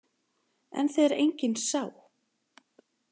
En þegar enginn sá?